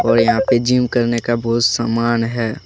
और यहां पे जिम करने का बहुत समान है।